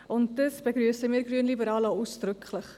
Dies begrüssen wir Grünliberalen ausdrücklich.